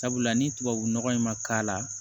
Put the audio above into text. Sabula ni tubabu nɔgɔ in ma k'a la